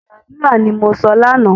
Ẹ gbàdúra, ni mo sọ lánáà!